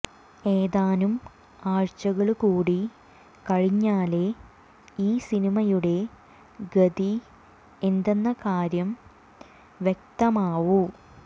ഏതാനും ആഴ്ചകള് കൂടി കഴിഞ്ഞാലേ ഈ സിനിമയുടെ ഗതി എന്തെന്ന കാര്യം വ്യക്തമാവൂ